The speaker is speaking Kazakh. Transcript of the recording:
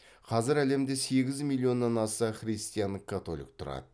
қазір әлемде сегіз миллионнан аса христиан католик тұрады